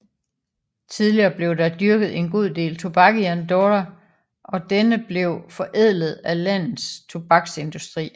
Tidligere blev der dyrket en god del tobak i Andorra og denne blev forædlet af landets tobaksindustri